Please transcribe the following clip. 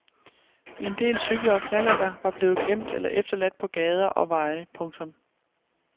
En del cykler og knallerter var blevet glemt eller efterladt på gader og veje. punktum